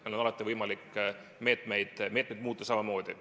Meil on alati võimalik meetmeid muuta.